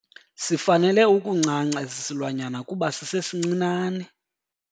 Sifanele ukuncanca esi silwanyana kuba sisesincinane.